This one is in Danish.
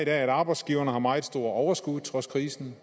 at arbejdsgiverne har meget store overskud trods krisen